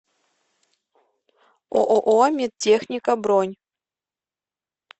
ооо медтехника бронь